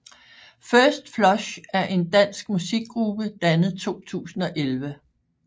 First Flush er en dansk musikgruppe dannet 2011